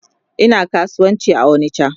Ina kasuwanci a onicha